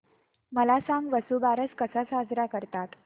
मला सांग वसुबारस कसा साजरा करतात